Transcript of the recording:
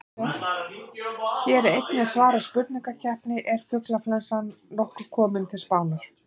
Hér er einnig svarað spurningunni: Er fuglaflensan nokkuð komin til Spánar?